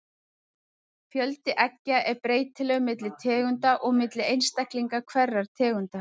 Fjöldi eggja er breytilegur milli tegunda og milli einstaklinga hverrar tegundar.